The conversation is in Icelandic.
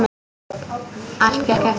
Allt gekk eftir.